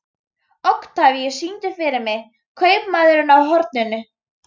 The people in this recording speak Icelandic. Oktavíus, syngdu fyrir mig „Kaupmaðurinn á horninu“.